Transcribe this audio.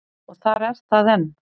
Og þar er það enn.